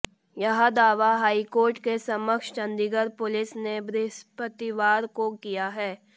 यह दावा हाईकोर्ट के समक्ष चंडीगढ़ पुलिस ने बृहस्पतिवार को किया है